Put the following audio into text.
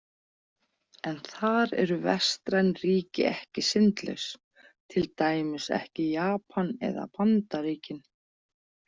En þar eru vestræn ríki ekki syndlaus, til dæmis ekki Japan eða Bandaríkin.